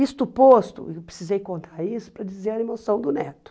Isto posto, eu precisei contar isso para dizer a emoção do neto.